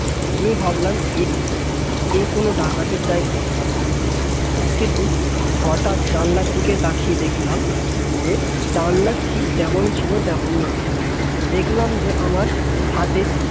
আমি ভাবলাম কোন ডাকাতের জায়গায় পড়লাম কিন্তু হঠাৎ জানলার দিকে তাকিয়ে দেখলাম যে জানলার শিখ যেমন ছিল তেমনি আছে দেখলাম যে আমার হাতে